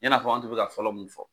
I n'a fɔ an tun bɛ ka fɔlɔ mun fɔ.